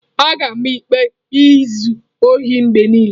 A ga-ama ikpe izu ohi mgbe niile.